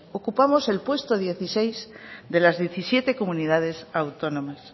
ocupamos el puesto dieciséis de las diecisiete comunidades autónomas